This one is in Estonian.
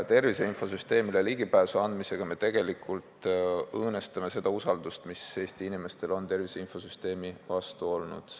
Tervise infosüsteemile ligipääsu andmisega me aga õõnestame seda usaldust, mis Eesti inimestel on tervise infosüsteemi vastu olnud.